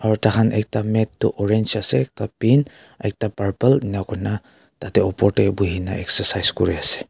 tar khan ekta mate tu orange ase pink ekta purple ening ka kori kina tarte opor te bohe kina exercise kori kina ase.